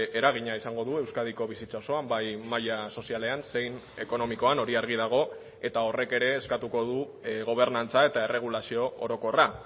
eragina izango du euskadiko bizitza osoan bai maila sozialean zein ekonomikoan hori argi dago eta horrek ere eskatuko du gobernantza eta erregulazio orokorra